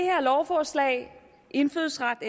her lovforslag indfødsret